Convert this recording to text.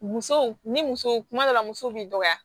Musow ni musow kuma dɔ la muso b'i dɔgɔya